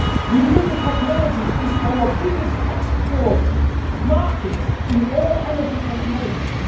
Renewable technology is our biggest export market in all energy technologies.